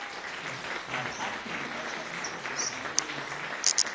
bathapi ba tshwanetse go saena